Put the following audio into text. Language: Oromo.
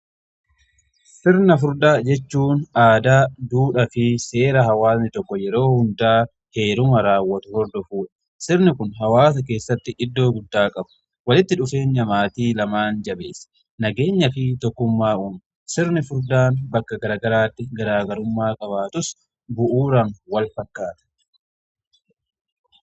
Sirna furdaa jechuun aadaa duudha fi seera hawaasni tokko yeroo hundaa heeruma raawwatu hordofudha. Sirni kun hawaasa keessatti iddoo guddaa qaba. Walitti dhufeenya maatii lamaan jabeessee nageenya fi tokkummaa uuma. Sirni furdaan bakka garaa garaatti garaagarummaa qabaatus bu'uuraan wal fakkaata.